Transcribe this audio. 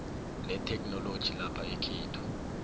letheknoloji lapha ekhethu